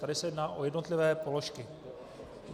Tady se jedná o jednotlivé položky.